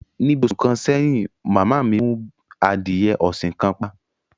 Ní bí òṣù kan sèyìn, màmá mi mú àdíyè òṣìn kan pà